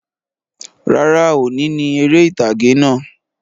Rárá, òní ni eré ìtàgè náà